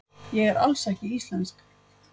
Ég er alls ekki íslensk.